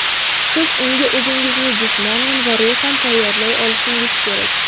Siz unga o‘zingizni jismonan va ruhan tayyorlay olishingiz kerak.